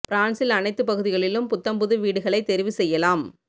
பிரான்சில் அனைத்துப் பகுதிகளிலும் புத்தம் புது வீடுகளைத் தெரிவு செய்யலாம்